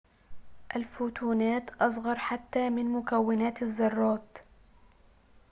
الفوتونات أصغر حتى من مكونات الذرات